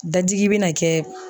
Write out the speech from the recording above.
Dadigi be na kɛ